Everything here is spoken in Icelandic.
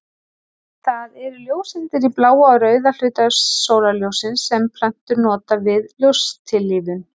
Það eru ljóseindir í bláa og rauða hluta sólarljóssins sem plöntur nota við ljóstillífun.